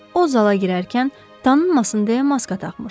O zala girərkən tanınmasın deyə maska taxmışdı.